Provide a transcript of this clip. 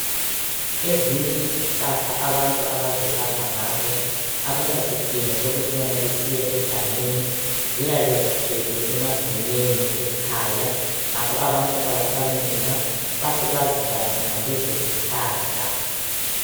Ezinye izihlahla abantu abazelapha ngazo akula sidingo sokutshona besiya egangeni. Ziyabe zigcwele emagumeni ekhaya, ngakho abantu abathwali nzima bahle bazilaphe ngalezo zihlahla.